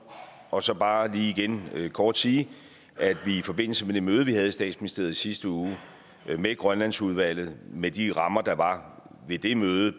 og så bare lige igen kort sige at vi i forbindelse med det møde vi havde i statsministeriet i sidste uge med grønlandsudvalget med de rammer der var ved det møde